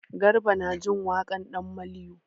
Garba na jin waƙan ɗan maliyo.